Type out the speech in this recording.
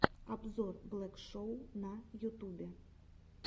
обзор блэк шоу на ютубе